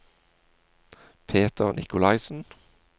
Peter Nikolaisen